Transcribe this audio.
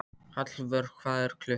Hallvör, hvað er klukkan?